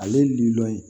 Ale lilɔn ye